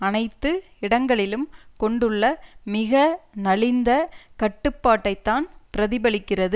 அனைத்து இடங்களிலும் கொண்டுள்ள மிக நலிந்த கட்டுப்பாட்டைத்தான் பிரதிபலிக்கிறது